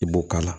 I b'o k'a la